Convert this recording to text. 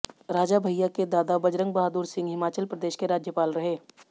राजा भैया के दादा बजरंग बहादुर सिंह हिमाचल प्रदेश के राज्यपाल रहे